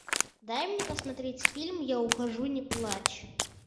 дай мне посмотреть фильм я ухожу не плачь